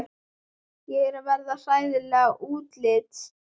Ég er að verða hræðileg útlits.